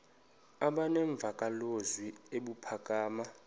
aba nemvakalozwi ebuphakama